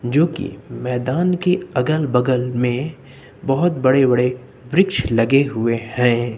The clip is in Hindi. जो कि मैदान के अगल बगल में बहोत बड़े बड़े वृक्ष लगे हुए हैं।